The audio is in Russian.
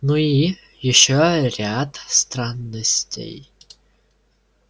ну и ещё ряд странностей